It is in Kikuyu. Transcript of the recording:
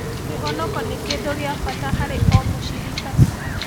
Kĩhonoko nĩ kĩndũ gĩa bata harĩ o mũcirika